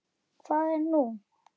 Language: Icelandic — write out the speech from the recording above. Hvað er nú?